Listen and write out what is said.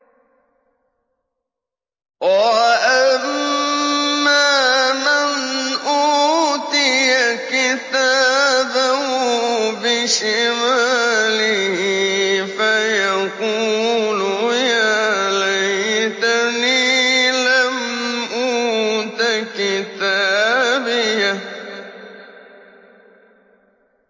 وَأَمَّا مَنْ أُوتِيَ كِتَابَهُ بِشِمَالِهِ فَيَقُولُ يَا لَيْتَنِي لَمْ أُوتَ كِتَابِيَهْ